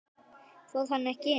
Fór hann ekki inn?